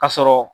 Ka sɔrɔ